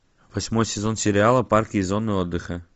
восьмой сезон сериала парки и зоны отдыха